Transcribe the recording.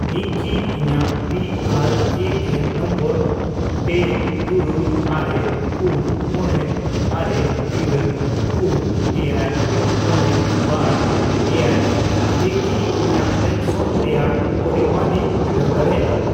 ᱤᱧ ᱠᱤ ᱤᱧᱟᱜ P R A N number ᱯᱮ, ᱛᱩᱨᱩᱭ, ᱟᱨᱮ, ᱯᱩᱱ, ᱢᱚᱬᱮ, ᱟᱨᱮ, ᱤᱨᱟᱹᱞ, ᱯᱩᱱ, ᱮᱭᱟᱭ, ᱢᱚᱬᱮ, ᱵᱟᱨ, ᱮᱭᱟᱭ ᱛᱮ ᱠᱤ ᱤᱧᱟᱜ ᱯᱮᱱᱥᱚᱱ ᱨᱮᱭᱟᱜ ᱯᱚᱨᱤᱢᱟᱱᱤᱧ ᱵᱤᱰᱟᱹᱣ ᱫᱟᱲᱮᱭᱟᱜᱼᱟ ?